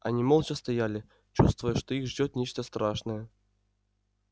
они молча стояли чувствуя что их ждёт нечто страшное